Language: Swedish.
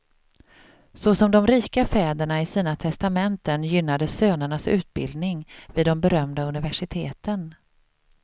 Såsom de rika fäderna i sina testamenten gynnade sönernas utbildning vid de berömda universiteten.